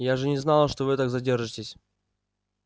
я же не знала что вы так задержитесь